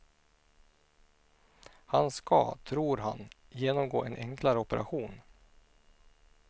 Han ska, tror han, genomgå en enklare operation.